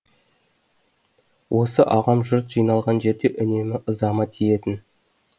осы ағам жұрт жиналған жерде үнемі ызама тиетін